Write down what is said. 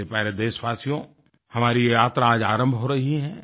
मेरे प्यारे देशवासियो हमारी यह यात्रा आज आरम्भ हो रही है